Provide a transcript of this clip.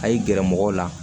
A y'i gɛrɛ mɔgɔw la